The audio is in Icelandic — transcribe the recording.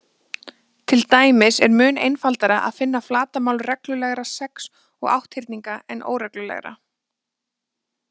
Til dæmis er mun einfaldara að finna flatarmál reglulegra sex- og átthyrninga en óreglulegra.